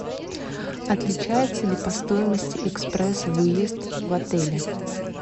отличается ли по стоимости экспресс выезд в отеле